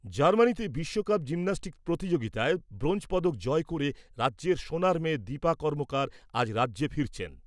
জার্মানিতে বিশ্ব cup gymnastics প্রতিযোগিতায় ব্রোঞ্জ পদক জয় করে রাজ্যের সোনার মেয়ে দীপা কর্মকার আজ রাজ্যে ফিরেছেন।